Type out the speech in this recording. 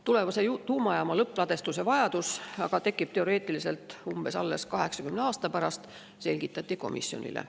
Tulevase tuumajaama lõppladustuse vajadus aga tekib teoreetiliselt alles umbes 80 aasta pärast, selgitati komisjonile.